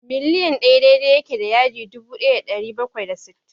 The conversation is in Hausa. mil ɗaya daidai yake da yadi dubu ɗaya da ɗari bakwai da sittin.